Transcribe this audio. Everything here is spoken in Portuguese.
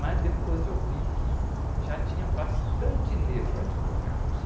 Mas depois eu vi que já tinha bastante negro advogados.